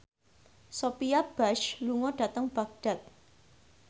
Sophia Bush lunga dhateng Baghdad